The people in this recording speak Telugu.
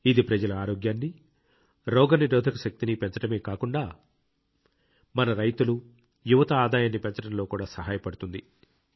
ఇది ప్రజల ఆరోగ్యాన్ని రోగనిరోధక శక్తిని పెంచడమే కాకుండా మన రైతులు యువత ఆదాయాన్ని పెంచడంలో కూడా సహాయపడుతుంది